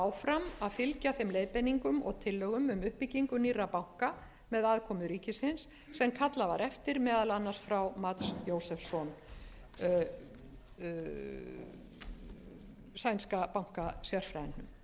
áfram að fylgja þeim leiðbeiningum og tillögum um uppbyggingu nýrra banka með aðkomu ríkisins sem kallað var eftir meðal annars frá mats josefsson sænska bankasérfræðingnum